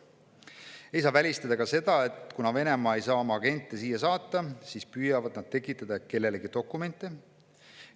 Ei saa välistada ka seda, et kuna Venemaa ei saa oma agente siia saata, siis püüavad nad tekitada kellelegi dokumente.